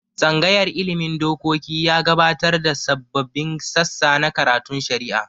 Tsangayar ilmin dokoki ya gabatar da sababbin sassa na karatun shari'a